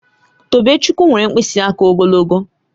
Tobechukwu nwere mkpịsị aka ogologo